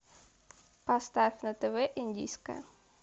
поставь на тв индийское